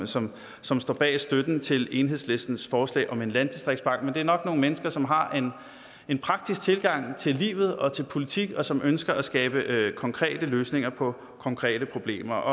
som som står bag støtten til enhedslistens forslag om en landdistriktsbank men det er nok nogle mennesker som har en praktisk tilgang til livet og til politik og som ønsker at skabe konkrete løsninger på konkrete problemer